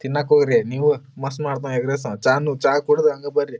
ತಿನ್ನಾಕ್ ಹೋಗ್ರಿ ನೀವು ಮಸ್ತ್ ಮಾಡ್ತಾ ಎಗ್ ರೈಸ್ ಚಾ ನು ಚಾ ಕುಡಿದು ಹಂಗ ಬರ್ರಿ.